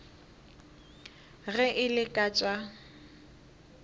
ge e le ka tša